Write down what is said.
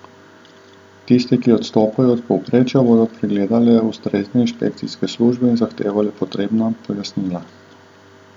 Tiste, ki odstopajo od povprečja, bodo pregledale ustrezne inšpekcijske službe in zahtevale potrebna pojasnila.